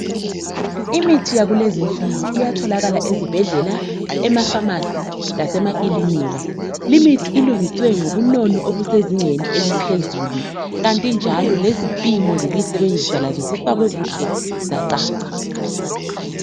imithi yakulezinsuku iyatholakala ezibhedlela ema phamarcy lasemakilinika limithi ilungiswe ngobunono obusezingeni eliphezulu kanti njalo lezipimo zokuyisebenzisa zifakwe kuhle zacaca